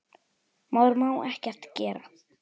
Maður má ekkert gera.